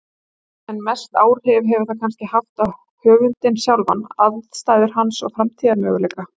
En mest áhrif hefur það kannski haft á höfundinn sjálfan, aðstæður hans og framtíðarmöguleika.